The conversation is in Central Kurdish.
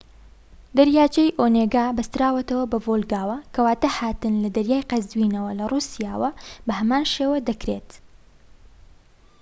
دەریاچەی ئۆنێگا بەستراوەتەوە بە ڤۆڵگاوە کەواتە هاتن لە دەریای قەزوینەوە لە رووسیاوە بەهەمان شێوە دەکرێت